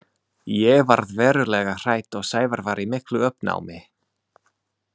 Ég varð verulega hrædd og Sævar var í miklu uppnámi.